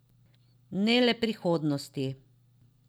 Ne le prihodnosti.